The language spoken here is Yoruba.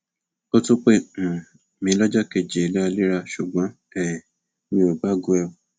ó tún pè um mí lọjọ kejì léraléra ṣùgbọn um mi ò gbé aago ẹ